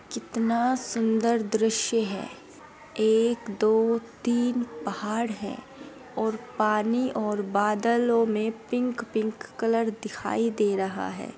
कितना सुंदर दृश्य है एक दो तीन पहाड़ है और पानी और बादलों में पिंक पिंक कलर दिखाई दे रहा है।